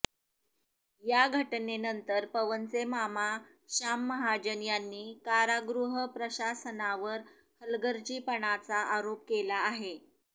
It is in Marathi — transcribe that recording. या घटनेनंतर पवनचे मामा शाम महाजन यांनी कारागृह प्रशासनावर हलगर्जीपणाचा आरोप केला आहे